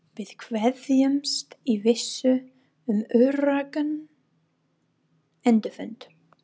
Við kveðjumst í vissu um öruggan endurfund.